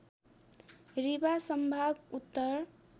रीवाँ सम्भाग उत्तर